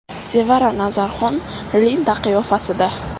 Sevara Nazarxon Linda qiyofasida.